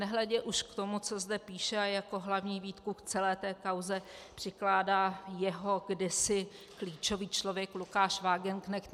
Nehledě už k tomu, co zde píše, a jako hlavní výtku k celé té kauze přikládá jeho kdysi klíčový člověk Lukáš Wagenknecht.